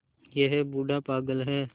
यह बूढ़ा पागल है